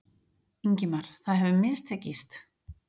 Ingimar: Það hefur mistekist?